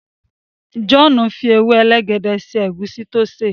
John fí ewe elegede sí egusi tí o ṣe.